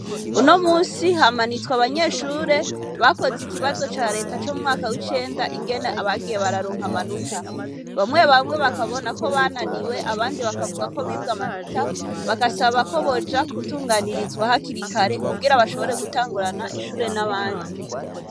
unomunsi hamanitswe abanyeshure bakoze ikibazo ca reta co mumwaka wicenda ingene abagiye bararonka amanota bamwe bamwe bakabona KO bananiwe abandi bakavuga ko bibwe amanota bagasaba koboja gutunganirizwa hakiri kare bakabona gutangurira ishure hamwe nabandi